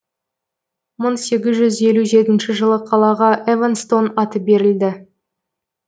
мың сегіз жүз елу жетінші жылы қалаға эванстон аты берілді